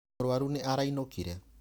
Mũrũaru nĩ arainũkire.